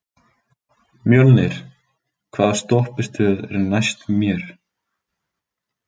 Mjölnir, hvaða stoppistöð er næst mér?